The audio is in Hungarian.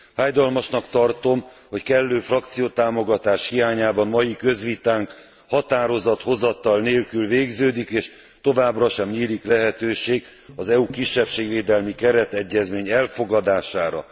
Fájdalmasnak tartom, hogy kellő frakciótámogatás hiányában mai közvitánk határozathozatal nélkül végződik, és továbbra sem nyílik lehetőség az EU kisebbségvédelmi keretegyezményének elfogadására.